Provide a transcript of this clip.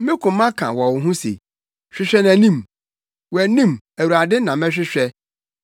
Me koma ka wɔ wo ho se, “Hwehwɛ nʼanim!” Wʼanim, Awurade na mɛhwehwɛ.